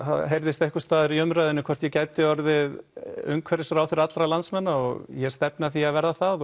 það heyrðist einhvers staðar í umræðunni hvort ég gæti orðið umhverfisráðherra allra landsmanna og ég stefni að því að verða það